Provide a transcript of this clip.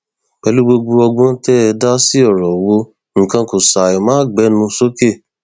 pẹlú gbogbo ọgbọn tẹ ẹ dá sí ọrọ owó nǹkan kó ṣàì máa gbénú sókè